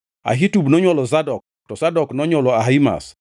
Ahitub nonywolo Zadok, Zadok nonywolo Ahimaz,